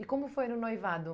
E como foi no noivado?